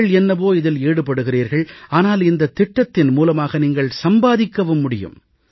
நீங்கள் என்னவோ இதில் ஈடுபடுகிறீர்கள் ஆனால் இந்தத் திட்டத்தின் மூலமாக நீங்கள் சம்பாதிக்கவும் முடியும்